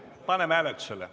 Paneme hääletusele.